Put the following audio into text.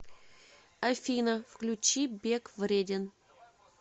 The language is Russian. афина включи бег вреден